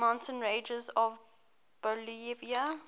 mountain ranges of bolivia